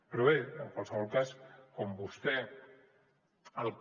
però bé en qualsevol cas com vostè el que